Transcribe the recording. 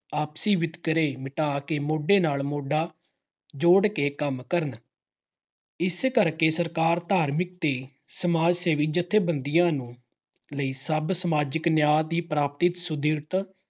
ਆਪਸੀ ਵਿਤਕਰੇ ਮਿਟਾ ਕੇ ਮੋਢੇ ਨਾਲ ਮੋਢਾ ਜੋੜ ਕੇ ਕੰਮ ਕਰਨ। ਇਸ ਕਰਕੇ ਸਰਕਾਰ ਧਾਰਮਿਕ ਤੇ ਸਮਾਜ ਸੇਵੀ ਜੱਥੇਬੰਦੀਆਂ ਨੂੰ ਲਈ ਸਭ ਸਮਾਜਿਕ ਨਿਆਂ ਦੀ ਪ੍ਰਾਪਤੀ ਸੁਦ੍ਰਿੜ